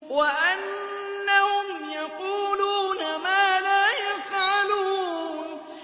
وَأَنَّهُمْ يَقُولُونَ مَا لَا يَفْعَلُونَ